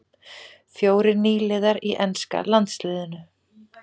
Fjórir nýliðar í enska landsliðinu